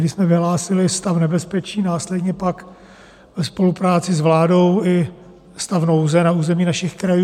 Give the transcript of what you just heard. Tehdy jsme vyhlásili stav nebezpečí, následně pak ve spolupráci s vládou i stav nouze na území našich krajů.